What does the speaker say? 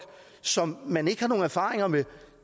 som man ikke har nogen erfaringer med